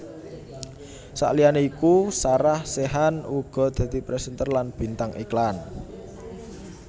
Saliyané iku Sarah Sechan uga dadi présènter lan bintang iklan